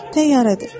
Şey deyil, təyyarədir.